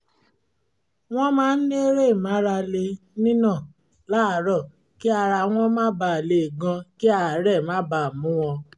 wọ́n máa ń eré ìmárale nínà láàárọ̀ kí ara wọn má ba lè gan kí àárẹ̀ má ba mú wọn